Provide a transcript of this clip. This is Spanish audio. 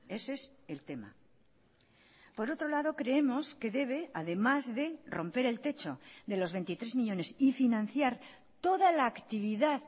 ese es el tema por otro lado creemos que debe además de romper el techo de los veintitrés millónes y financiar toda la actividad